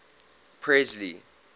presley